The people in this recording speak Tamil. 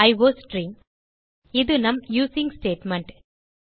அயோஸ்ட்ரீம் இது நம் யூசிங் ஸ்டேட்மெண்ட்